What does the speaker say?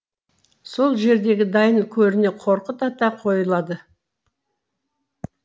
сол жердегі дайын көріне қорқыт ата қойылады